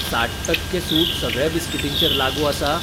साठ टक्के सूट सगळ्या बिस्कीटींचेर लागू आसा ?